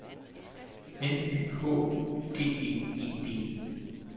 N Y H U G G E D E